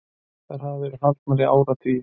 Þær hafa verið haldnar í áratugi.